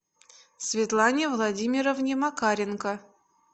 светлане владимировне макаренко